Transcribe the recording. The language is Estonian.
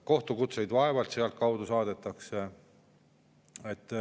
Kohtukutseid vaevalt sealtkaudu saadetakse.